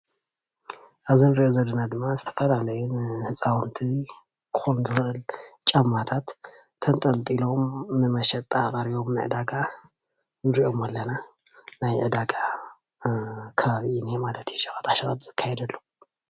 ኣብዚ እንሪኦ ዘለና ድማ ዝተፈላለዩ ንህፃውንቲ እኩል ምድላው ጫማታት ተንጠልጢሎም ንመሸጣ ቀሪቦም ንዕዳጋ ንሪኦም ኣለና ናይ ዕዳጋ ከባቢ እዩ እኒሀ ማለት እዩ ሸቀጣ ሸቀጥ ዝካየደሉ